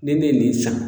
Ni ne ye nin san